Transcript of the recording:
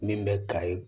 Min bɛ ka ye